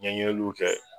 Ɲɛɲiniliw kɛ